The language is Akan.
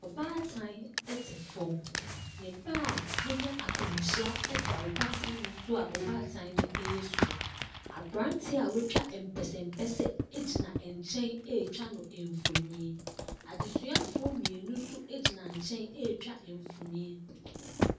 Ɔbaatan te fam, ne ba a wanya akwanhyia da ɔbaatan ne so a ɔbaatan ne ɛresu. Aberanteɛ a watwa mpɛsɛmpɛsɛ gyina nkyɛn ɛretwa no mfonin. Adesuafoɔ mmienu nso gyina nkyɛn ɛretwa mfonin.